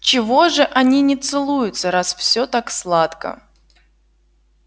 чего же они не целуются раз всё так сладко